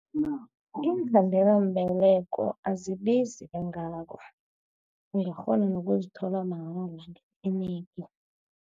Iinkhandelambeleko azibizi kangako. Ungakghona nokuzithola mahala etlinigi.